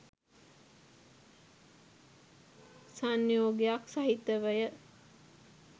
සංයෝගයක් සහිතවය.